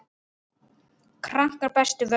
Krankan brestur völdin.